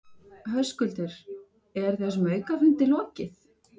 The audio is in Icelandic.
Höskuldur, er þessum aukafundi lokið?